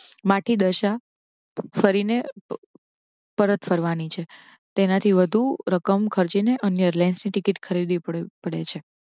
માથી દશા ફરી ને પરત ફરવાની છે. તેનાથી વધુ રકમ ખર્ચી ને અન્ય airlines ની ટીકીટ ખરીદવી પડે છે.